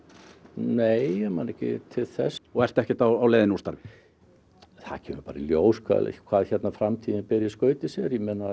nei ég man ekki til þess og þú ert ekkert á leið úr starfi það kemur bara í ljós hvað hvað framtíðin ber í skauti sér